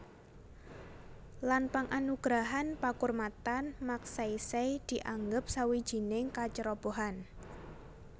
Lan penganugerahan pakurmatan Magsaysay dianggep sawijining kacerobohan